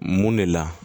Mun de la